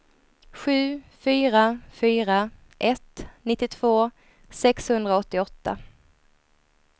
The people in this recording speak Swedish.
sju fyra fyra ett nittiotvå sexhundraåttioåtta